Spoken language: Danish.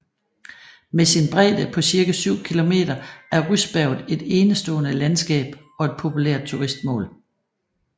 Med sin bredde på cirka 7 km er Ryssberget et enestående landskab og et populært turistmål